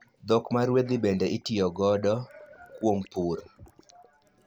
Dhok maruedhi bende itiyogodo kuom pur.